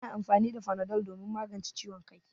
Ana amfani da fanadol domin magance ciwon kai.